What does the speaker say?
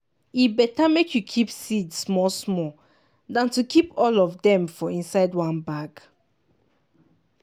e better make you keep seed small small than to keep all of dem for inside one bag.